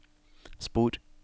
spor